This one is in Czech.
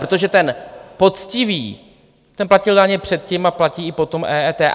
Protože ten poctivý, ten platil daně předtím a platí i po EET.